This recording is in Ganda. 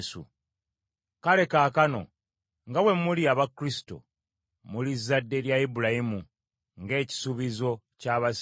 Kale kaakano nga bwe muli aba Kristo, muli zadde lya Ibulayimu, ng’ekisuubizo ky’abasika bwe kiri.